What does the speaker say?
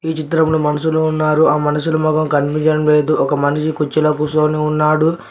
ఈ చిత్రంలో మనుషులు ఉన్నారు ఆ మనుషుల మొఖం కనిపించడం లేదు ఒక మనిషి కుర్చీలో కూసోని ఉన్నాడు.